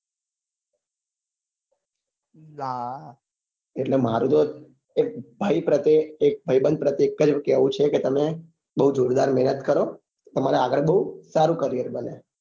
એટલે મારું તો એક ભાઈ પ્રતે એક ભાઈબંધ પ્રત્યે એક જ કેવું છે કે તમે બઉ જોરદાર મહેનત કરો તારે આગળ બઉ સારું career બને